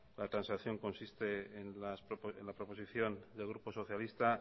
la transacción consiste en la proposición del grupo socialista al